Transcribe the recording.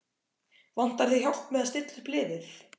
Vantar þig hjálp með að stilla upp liðið?